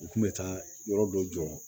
U kun bɛ taa yɔrɔ dɔ jɔ